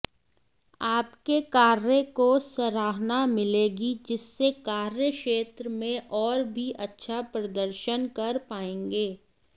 आपके कार्य को सराहना मिलेगी जिससे कार्यक्षेत्र में और भी अच्छा प्रदर्शन कर पाएंगे